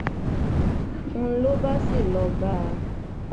n ló bá sì lọọ bá a